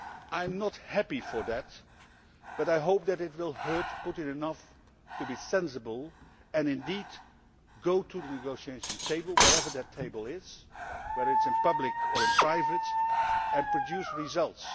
I am not happy because of that, but I hope that it will hurt Putin enough to be sensible and indeed go to the negotiating table, wherever that table is, whether it is in public or in private, and produce results.